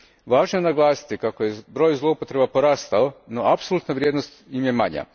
Važno je naglasiti kako je broj zloupotreba porastao, no apsolutna vrijednost im je manja.